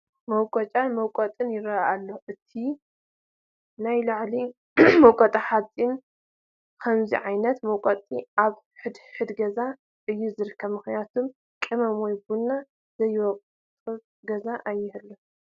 መቆጫን መውቀጥን ይርአዩ ኣለዉ፡፡ እቲ ናይ ላዕሊ መውቀጢ ሓፂን እዩ፡፡ ከምዚ ዓይነት መውቀጢ ኣብ ሕድ ሕድ ገዛ እዩ ዝርከብ፡፡ ምኽንያቱም ቅመም ወይ ቡን ዘይወቅጥ ገዛ ኣይህሉን፡፡